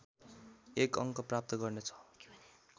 एक अङ्क प्राप्त गर्नेछ